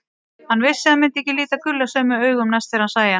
Hann vissi að hann myndi ekki líta Gulla sömu augum næst þegar hann sæi hann.